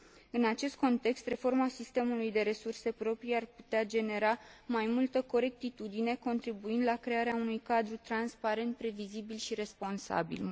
În acest context, reforma sistemului de resurse proprii ar putea genera mai multă corectitudine, contribuind la crearea unui cadru transparent, previzibil și responsabil.